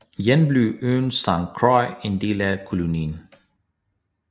Jan blev øen Sankt Croix en del af kolonien